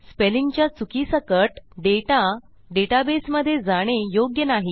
स्पेलिंगच्या चुकीसकट डेटा डेटाबेसमधे जाणे योग्य नाही